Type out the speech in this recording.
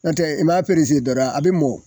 N'o tɛ i m'a dɔrɔn a bi mɔ